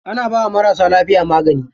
Ana bawa marasa lafiya magani.